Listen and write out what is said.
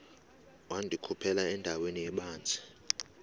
wandikhuphela endaweni ebanzi